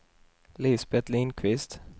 Lisbet Lindqvist